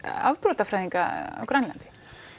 afbrotafræðinga á Grænlandi